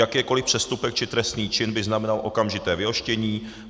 Jakýkoliv přestupek či trestný čin by znamenal okamžité vyhoštění.